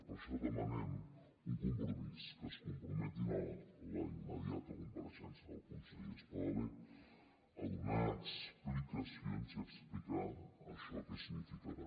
per això demanem un compromís que es comprometin a la immediata compareixença del conseller espadaler a donar explicacions i a explicar això què significarà